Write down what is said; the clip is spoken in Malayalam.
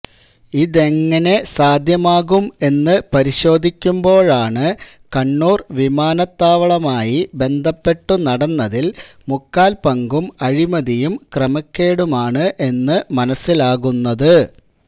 ഇതെങ്ങിനെ സാധ്യമാകും എന്ന് പരിശോധിക്കുമ്പോഴാണ് കണ്ണൂർ വിമാനത്താവളമായി ബന്ധപ്പെട്ടു നടന്നതിൽ മുക്കാൽ പങ്കും അഴിമതിയും ക്രമക്കേടുമാണ് എന്ന് മനസിലാകുന്നത്